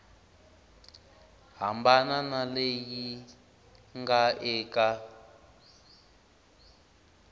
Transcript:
hambana na leyi nga eka